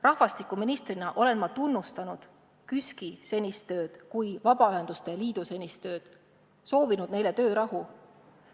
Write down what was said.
Rahvastikuministrina olen ma tunnustanud KÜSK-i senist tööd, Vabaühenduste Liidu senist tööd, soovinud neile töörahu.